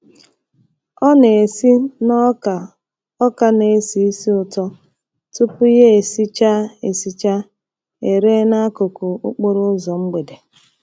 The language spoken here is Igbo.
Ọ na-esi na ọka ọka na-esi ísì ụtọ tupu ya esichaa esichaa ere n'akụkụ okporo ụzọ mgbede.